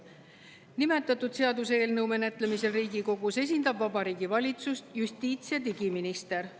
Nimetatud seaduseelnõu menetlemisel Riigikogus esindab Vabariigi Valitsust justiits‑ ja digiminister.